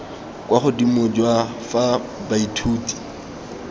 kwa godimo jwa fa baithuti